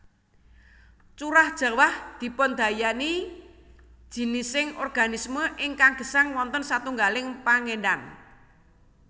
Curah jawah dipundayani jinising organisme ingkang gesang wonten satunggaling panggènan